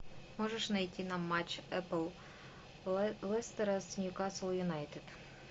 можешь найти нам матч апл лестера с ньюкасл юнайтед